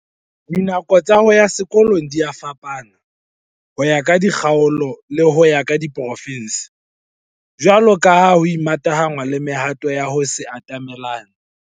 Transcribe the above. Dinako tsa ho ya sekolong dia fapana ho ya ka dikgaolo le ho ya ka diporofinse, jwalo ka ha ho imatahanngwa le mehato ya ho se atamelane.